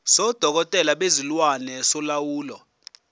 sodokotela bezilwane solawulo